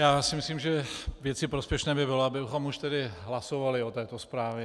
Já si myslím, že věci prospěšné by bylo, abychom už tedy hlasovali o této zprávě.